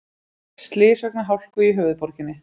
Slys vegna hálku í höfuðborginni